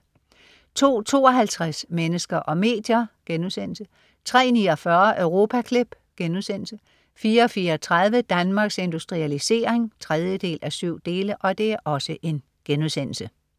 02.52 Mennesker og medier* 03.49 Europaklip* 04.34 Danmarks Industrialisering 3:7*